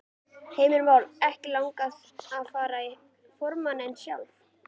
Heimir Már: Ekkert langað að fara í formanninn sjálf?